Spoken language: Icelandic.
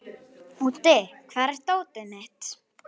Úddi, hvar er dótið mitt?